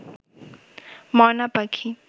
ময়না পাখি